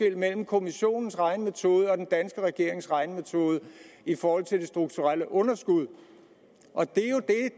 mellem kommissionens regnemetode og den danske regerings regnemetode i forhold til det strukturelle underskud og det